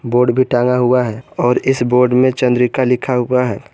Board भी टांगा हुआ है और इस बोर्ड में चंद्रिका लिखा हुआ है।